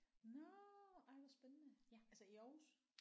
Nåh ej hvor spændende altså i Aarhus